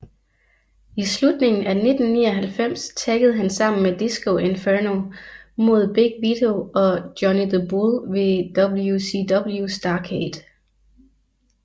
I slutningen af 1999 taggede han sammen med Disco Inferno mod Big Vito og Johnny the Bull ved WCW Starrcade